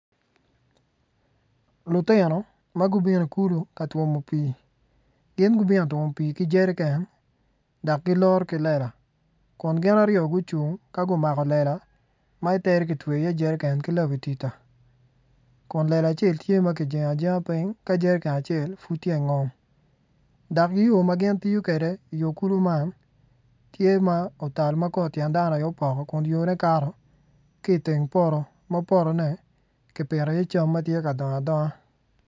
Lutino ma gubino i kulu ka twomo pii gin gubino ka twomo pii ki jereken dok giloro ki lela kun gin aryo gucung ka gumako lela ma itere ki twe iye jereken kilabatida kun lela acel tye ma jengo ajenga piny dok yo ma gin tiyo kwede yo kulu man tye ma otal ma kor tyen dano aye poko ki iteng poto ma potone kipiti iye cam ma tye ka dong adonga